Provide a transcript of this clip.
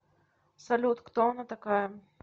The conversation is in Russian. салют кто она такая